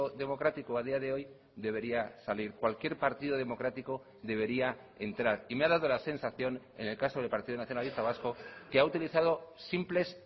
democrático a día de hoy debería salir cualquier partido democrático debería entrar y me ha dado la sensación en el caso del partido nacionalista vasco que ha utilizado simples